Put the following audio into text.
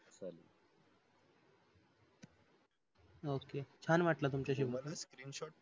okay छान वाटल तुमच्याशी बोलून